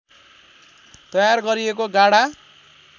तयार गरिएको गाढा